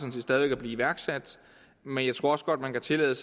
stadig at blive iværksat men jeg tror også godt man kan tillade